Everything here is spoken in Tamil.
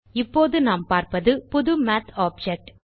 இப்போது நாம் பார்ப்பது புது மாத் ஆப்ஜெக்ட்